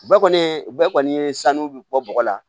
Bɛɛ kɔni ye bɛɛ kɔni ye sanuya bi bɔ bɔgɔ la